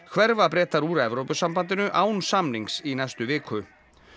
hverfa Bretar úr Evrópusambandinu án samnings í næstu viku